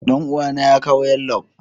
Danuwa na ya kawo yallob.